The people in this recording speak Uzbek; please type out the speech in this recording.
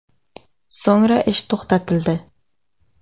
So‘ngra ish to‘xtatildi.